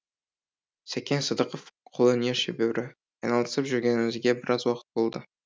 сәкен сыдықов қолөнер шебері айналысып жүргенімізге біраз уақыт болды